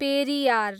Periyar